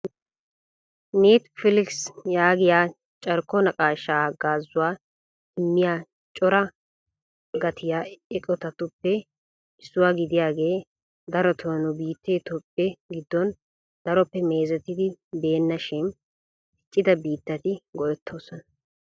'Netflix' yaagiyaa carkko naqaashshaa haggaazzuwa immiyaacora gattiyaa eqqotatuppe issuwa gidiyaage darotoo nu biittee Toophe giddon daroppe meezeteti beena shin diccida biittati go''ettoosona.